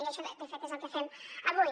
i això de fet és el que fem avui